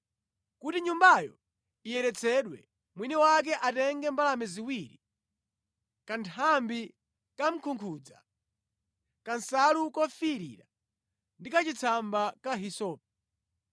Kuti nyumbayo iyeretsedwe, mwini wake atenge mbalame ziwiri, kanthambi kamkungudza, kansalu kofiirira ndi kachitsamba ka hisope.